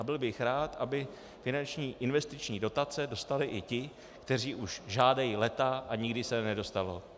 A byl bych rád, aby finanční investiční dotace dostali i ti, kteří už žádají léta, a nikdy se nedostalo.